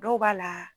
Dɔw b'a la